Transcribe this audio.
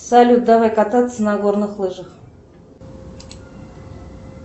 салют давай кататься на горных лыжах